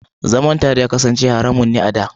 Zaman tare ya kasance haramun ne a da.